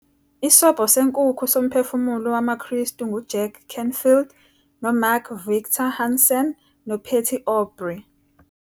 Isobho Senkukhu soMphefumulo WamaKristu nguJack Canfield noMark Victor Hansen noPatty Aubery